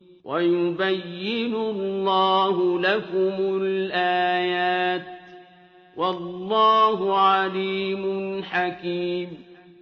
وَيُبَيِّنُ اللَّهُ لَكُمُ الْآيَاتِ ۚ وَاللَّهُ عَلِيمٌ حَكِيمٌ